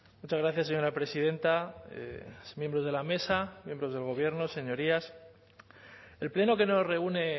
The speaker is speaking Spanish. muchas gracias señora presidenta miembros de la mesa miembros del gobierno señorías el pleno que no reúne